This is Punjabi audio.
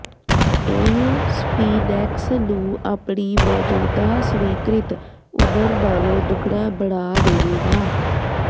ਇਹ ਸਪੀਨੈਕਸ ਨੂੰ ਆਪਣੀ ਮੌਜੂਦਾ ਸਵੀਕ੍ਰਿਤ ਉਮਰ ਨਾਲੋਂ ਦੁੱਗਣਾ ਬਣਾ ਦੇਵੇਗਾ